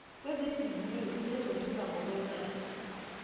kwezebhizimisi bezozuza ngokwemali